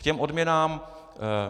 K těm odměnám.